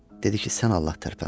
Dedi ki, sən Allah tərpənmə.